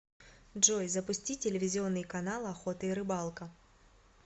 джой запусти телевизионный канал охота и рыбалка